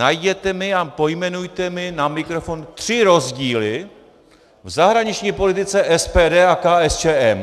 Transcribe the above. Najděte mi a pojmenujte mi na mikrofon tři rozdíly v zahraniční politice SPD a KSČM.